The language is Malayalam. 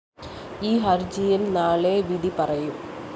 ഈ ഹര്‍ജിയില്‍ നാളെ വിധിപറയും